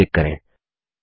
okay पर क्लिक करें